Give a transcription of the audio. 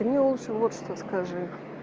ты мне лучше вот что скажи